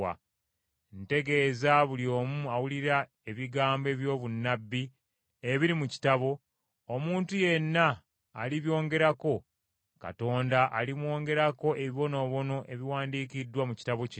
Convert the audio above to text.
Ntegeeza buli omu awulira ebigambo eby’obunnabbi ebiri mu kitabo: Omuntu yenna alibyongerako, Katonda alimwongerako ebibonoobono ebiwandiikiddwa mu kitabo kino.